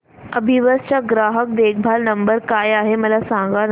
अभिबस चा ग्राहक देखभाल नंबर काय आहे मला सांगाना